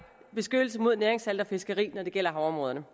beskyttelse mod næringssalte og fiskeri når det gælder havområderne